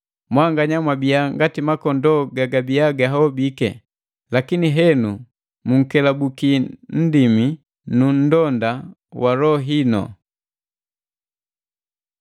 Mwanganya mwabiya ngati makondoo gagabiya gahobiki; lakini henu munkelubuki Nndimi nu nndonda wa loho inu.